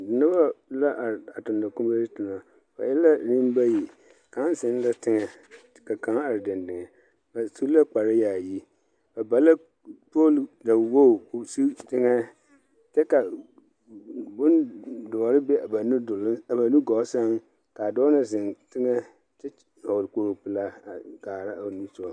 Noba la are a tonɔ kuree toma. Ba e la nembayi. Kaŋ zeŋ la teŋɛ, ka kaŋ are dendeŋ. Ba su la kpareyaayi. Ba ba la pooli dawog ko sig teŋɛ kyɛ ka bondoɔre be ba nudol a ba nugɔɔ sɛŋ kaa dɔɔ na zeŋ teŋɛ kyɛ vɔgle kpoglipelaa a kaa o niŋesogɔ.